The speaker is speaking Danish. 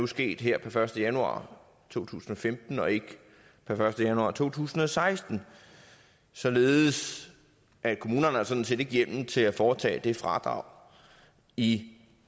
sket her per første januar to tusind og femten og ikke per første januar to tusind og seksten således at kommunerne sådan set ikke har hjemmel til at foretage fradrag i